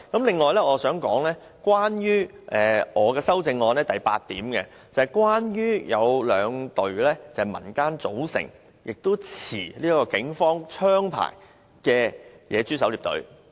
另外，我想談談我的修正案第八點，關於兩支由民間組成並持警方槍牌的野豬狩獵隊。